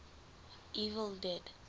evil dead